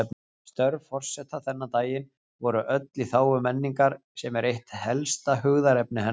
Störf forseta þennan daginn voru öll í þágu menningar, sem er eitt helsta hugðarefni hennar.